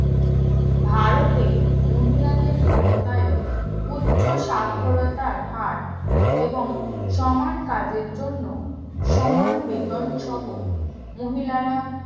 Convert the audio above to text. ভারতে মহিলাদের ক্ষমতায়ন উচ্চস্বাক্ষরতার হার এবং সমান কাজের জন্য সমান বেতন সহ মহিলারা